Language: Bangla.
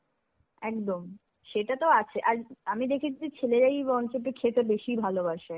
একদম. সেটা তো আছে. আর, আমি দেখেছি ছেলেরাই বরঞ্চ একটু খেতে ভালবাসে.